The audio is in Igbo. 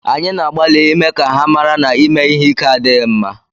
Anyị na-agbalị ịme ka ha mara na ịme ihe ike adịghị mma